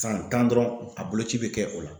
San tan dɔrɔn a boloci be kɛ o la.